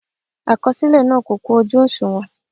Àkọsílẹ náà kò kún ojú òṣùwọ̀n.